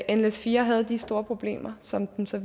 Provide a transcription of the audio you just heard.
at nles4 havde de store problemer som den så